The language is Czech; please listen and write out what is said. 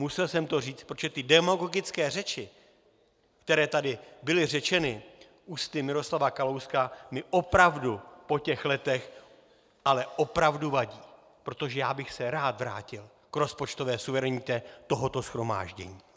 Musel jsem to říct, protože ty demagogické řeči, které tady byly řečeny ústy Miroslava Kalouska, mi opravdu po těch letech ale opravdu vadí, protože já bych se rád vrátil k rozpočtové suverenitě tohoto shromáždění.